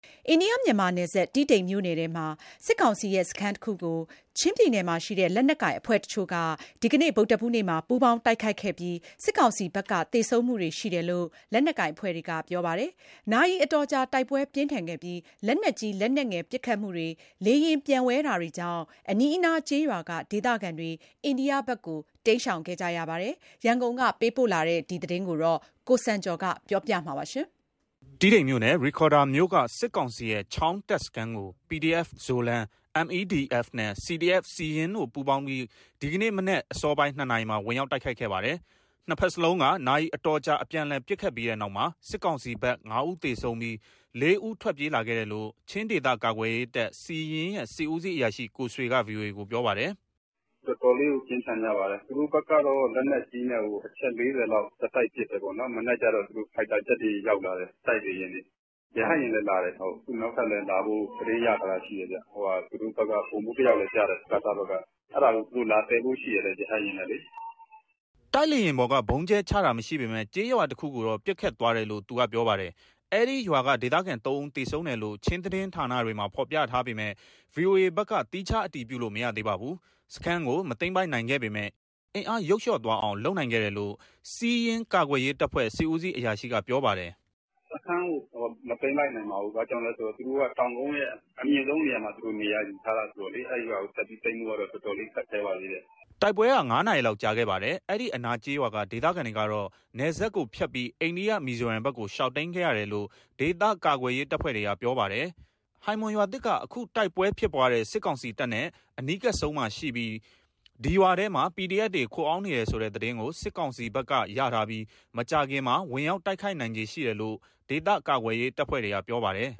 အိန္ဒိယ- မြန်မာနယ်စပ်၊ တီးတိန်မြို့နယ်ထဲက စစ်ကောင်စီရဲ့စခန်းတခုကို ချင်းပြည်နယ်မှာရှိတဲ့ လက်နက်ကိုင်အဖွဲ့တချို့က ဒီနေ့ ဗုဒ္ဓဟူးနေ့မှာ ပူးပေါင်းတိုက်ခိုက်ခဲ့ပြီး စစ်ကောင်စီဘက်က သေဆုံးမှုတွေရှိတယ်လို့ လက်နက်ကိုင်အဖွဲ့တွေက ပြောပါတယ်။ နာရီအတော်ကြာ တိုက်ပွဲပြင်းထန်ခဲ့ပြီး လက်နက်ကြီး၊ လက်နက်ငယ်ပစ်ခတ်မှုတွေ၊ လေယာဉ်ပျံဝဲတာတွေကြောင့် အနီးအနားကျေးရွာက ဒေသခံတွေ အိန္ဒိယဘက်ကို တိမ်းရှောင်ခဲ့ရပါတယ်။ ရန်ကုန်ကပေးပို့တဲ့ ဒီသတင်းကို ကိုစံကျော်က တင်ပြပေးထားပါတယ်။ တီးတိန်မြို့နယ်၊ ရိဒ်ခေါရ်ဒါမြို့က စစ်ကောင်စီရဲ့ ချောင်း တပ်စခန်းကို PDF Zoland၊ MEDF နဲ့ CDF Siyin တို့ ပူးပေါင်းပြီး ဒီနေ့မနက်အစောပိုင်း ၂ နာရီမှာ ဝင်ရောက်တိုက်ခိုက်ခဲ့ပါတယ်။ နှစ်ဘက်စလုံးက နာရီအတော်ကြာ အပြန်အလှန်ပစ်ခတ်ပြီးတဲ့နောက်မှာ စစ်ကောင်စီဘက် ငါးဦးသေဆုံးပြီး လေးဦးထွက်ပြေးလာခဲ့တယ်လို့ ချင်းဒေသကာကွယ်ရေးတပ် ရဲ့ စစ်ဦးစီးအရာရှိ ကိုဆွေက ဗွီအိုအေကို ပြောပါတယ်။ " တော်တော်လေးကို ပြင်းထန်ကြပါတယ်။ သူတို့ဘက်ကတော့ လက်နက်ကြီးနဲ့ကို အချက် ၄၀ လောက် ဆက်တိုက် ပစ်တယ်ပေါ့နော်၊ မနက်ကျတော့ သူတို့ ဖိုက်တာဂျက်တွေ ရောက်လာတယ်၊ တိုက်လေယာဉ်တွေ။ ရဟတ်ယာဉ်လည်းလာတယ်။ အခုနောက်ထပ်လည်းလာဖို့ သတင်းရထားတာရှိတယ်။ သူတို့ဘက်က ဗိုလ်မှူးတယောက်လည်းကျတယ်၊ စကစဘက်က။ အဲဒါကို သူတို့ လာသယ်ဖို့ရှိတယ် ရဟတ်ယာဉ်နဲ့လေ။" တိုက်လေယာဉ်ပေါ်ကနေ ဗုံးကြဲချတာမရှိပေမယ့် ကျေးရွာတခုကိုတော့ ပစ်ခတ်သွားတယ်လို့ သူကပြောပါတယ်။ အဲဒီရွာကဒေသခံ ၃ ဦးသေဆုံးတယ်လို့ ချင်းသတင်းဌာနတွေမှာ ဖော်ပြထားပေမယ့် ဗွီအိုအေဘက်တော့ သီးခြားအတည်ပြုလို့ မရသေးပါဘူး။ စခန်းကို မသိမ်းပိုက်နိုင်ခဲ့ပေမယ့် အင်အားယုတ်လျော့သွားအောင် လုပ်နိုင်ခဲ့တယ်လို့ စီးယင်းကာကွယ်ရေးတပ်ဖွဲ့ စစ်ဦးစီးအရာရှိက ပြောပါတယ်။ " စခန်းကို မသိမ်းလိုက်နိုင်ပါဘူး။ ဘာကြောင့်လဲဆိုတော့ သူတို့က တောင်ကုန်းရဲ့ အမြင့်ဆုံးနေရာမှာ နေရာယူထားတာ ဆိုတော့လေ။ အဲရွာကိုတက်ပြီးသိမ်းဖို့က တော်တော်လေး ခက်ခဲပါသေးတယ်။" တိုက်ပွဲက ငါးနာရီလောက်ကြာခဲ့ပါတယ်။ အနီးအနားကျေးရွာက ဒေသခံတွေကတော့ နယ်စပ်ကိုဖြတ်ပြီး အိန္ဒိယမီဇိုရမ်ဘက်ကို ရှောင်တိမ်းခဲ့ရတယ်လို့ ဒေသကာကွယ်ရေးတပ်ဖွဲ့တွေက ပြောပါတယ်။ ဟိုင်မွန်ရွာသစ်က အခုတိုက်ပွဲဖြစ်ပွားတဲ့ စစ်ကောင်စီတပ်နဲ့ အနီးကပ်ဆုံးမှာရှိပြီး ဒီရွာထဲမှာ PDF တွေခိုအောင်းနေတယ်ဆိုတဲ့ သတင်းကို စစ်ကောင်စီဘက်ကရထားပြီး မကြာခင်မှာ ဝင်ရောက်တိုက်ခိုက်နိုင်ခြေ ရှိတယ်လို့ ဒေသကာကွယ်ရေးအဖွဲ့တွေက ပြောပါတယ်